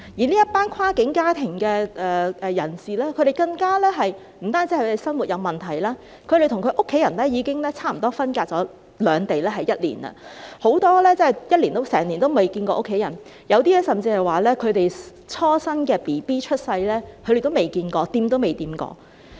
這一群跨境家庭的人士更不止是生活有問題，他們與家人已經分隔兩地差不多一年，很多人真的一年來都未曾與家人見面，有些人甚至連自己初生的嬰兒也未看過，未碰過。